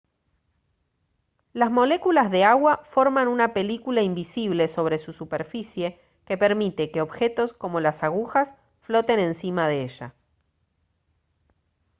las moléculas de agua forman una película invisible sobre su superficie que permite que objetos como las agujas floten encima de ella